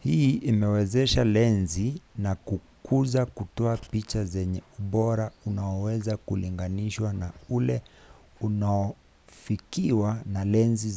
hii imewezesha lenzi za kukuza kutoa picha zenye ubora unaoweza kulinganishwa na ule unaofikiwa na lenzi